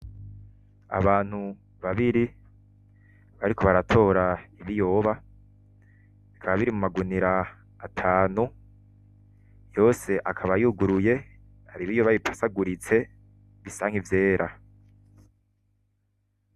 Abantu babiri bariko baratora ibiyoba, bikaba biri mu magunira atanu yose akaba yuguruye hari ibiyoba bipasaguritse bisa nki vyera.